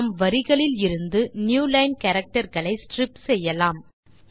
நாம் வரிகளில் இருந்து நியூலைன் கேரக்டர் களை ஸ்ட்ரிப் செய்யலாம்